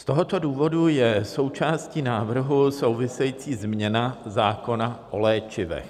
Z tohoto důvodu je součástí návrhu související změna zákona o léčivech.